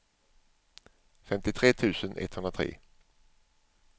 femtiotre tusen etthundratre